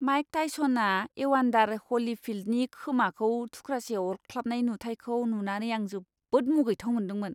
Mic टाइसना एवान्दार हलीफील्डनि खोमाखौ थुख्रासे अरख्लाबनाय नुथायखौ नुनानै आं जोबोद मुगैथाव मोनदोंमोन!